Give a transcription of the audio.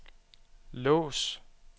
lås